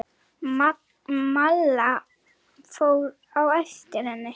Malla fór á eftir henni.